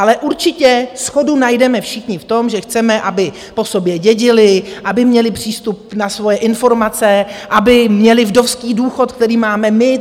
Ale určitě shodu najdeme všichni v tom, že chceme, aby po sobě dědili, aby měli přístup na svoje informace, aby měli vdovský důchod, který máme my.